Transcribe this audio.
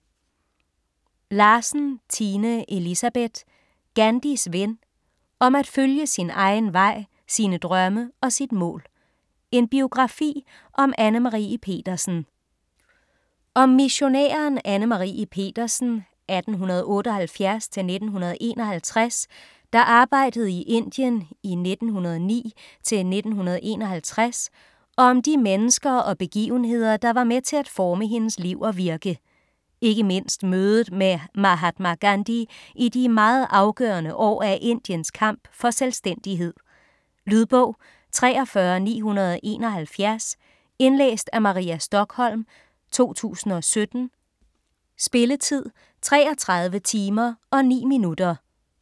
Larsen, Tine Elisabeth: Gandhis ven: om at følge sin egen vej, sine drømme og sit mål: en biografi om Anne Marie Petersen Om missionæren Anne Marie Petersen (1878-1951), der arbejdede i Indien 1909-1951 og om de mennesker og begivenheder der var med til at forme hendes liv og virke, ikke mindst mødet med Mahatma Gandhi i de meget afgørende år af Indiens kamp for selvstændighed. Lydbog 43971 Indlæst af Maria Stokholm, 2017. Spilletid: 33 timer, 9 minutter.